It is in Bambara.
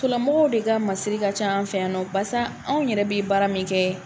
lamɔgɔw de ka masiri ka ca an fɛ yan nɔ barisa anw yɛrɛ bɛ baara min kɛ